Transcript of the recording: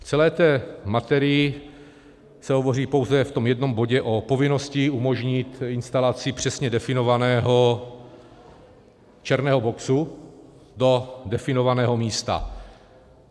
V celé té materii se hovoří pouze v tom jednom bodě o povinnosti umožnit instalaci přesně definovaného černého boxu do definovaného místa.